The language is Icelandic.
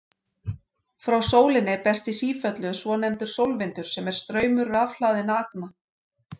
Frá sólinni berst í sífellu svonefndur sólvindur sem er straumur rafhlaðinna agna.